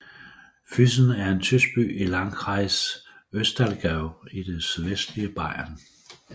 Füssen er en tysk by i Landkreis Ostallgäu i det sydvestlige Bayern